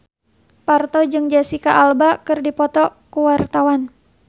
Parto jeung Jesicca Alba keur dipoto ku wartawan